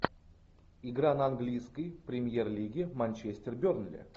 игра на английской премьер лиги манчестер бернли